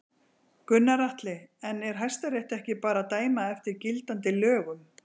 Gunnar Atli: En er Hæstiréttur ekki bara að dæma eftir gildandi lögum?